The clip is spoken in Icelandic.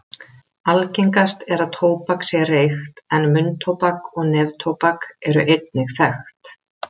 Algengast er að tóbak sé reykt en munntóbak og neftóbak eru einnig þekkt.